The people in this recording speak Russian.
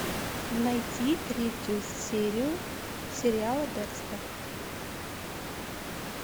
найти третью серию сериала декстер